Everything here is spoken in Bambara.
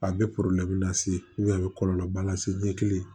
A bɛ lase a bɛ kɔlɔlɔba lase ɲɛ kelen